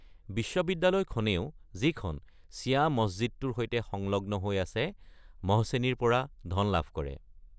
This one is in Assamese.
বিশ্ববিদ্যালয়খনেও, যিখন ছিয়া মছজিদটোৰ সৈতে সংলগ্ন হৈ আছে, মহছেনীৰ পৰা ধন লাভ কৰে।